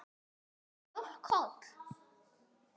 Er mjólk holl?